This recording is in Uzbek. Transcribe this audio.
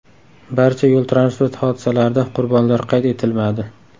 Barcha yo‘l-transport hodisalarida qurbonlar qayd etilmadi.